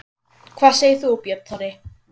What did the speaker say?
Hvað segir þú, Björn Þorri?